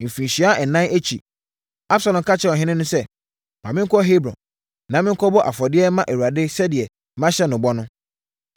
Mfirinhyia ɛnan akyi, Absalom ka kyerɛɛ ɔhene no sɛ, “Ma menkɔ Hebron na menkɔbɔ afɔdeɛ mma Awurade sɛdeɛ mahyɛ no bɔ no.